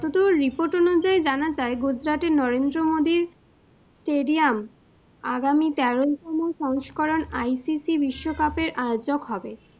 যতদূর report অনুযায়ী জানা যায় Gujarat টের নরেন্দ্র মোদী stadium আগামী তেরোতম সংস্করণ ICC বিশ্বকাপের আয়োজক হবে।